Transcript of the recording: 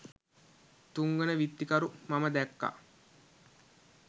තුන්වන විත්තිකරු මම දැක්කා